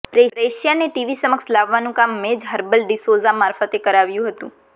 પ્રેક્ષ્યાને TV સમક્ષ લાવવાનું કામ મેં જ હર્બટ ડિસોઝા મારફતે કરાવરાવ્યું હતું